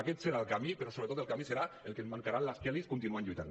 aquest serà el camí però sobretot el camí serà el que ens marcaran les kellys continuant lluitant